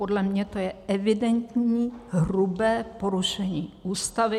Podle mě to je evidentní, hrubé porušení Ústavy.